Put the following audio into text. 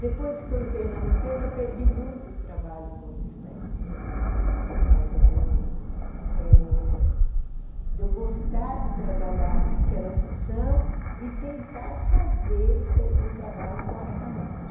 Depois que eu entrei na limpeza, eu perdi muitos trabalhos com isso daí, uhum, por causa do eh de eu gostar de trabalhar naquela função e tentar fazer o serv o trabalho corretamente.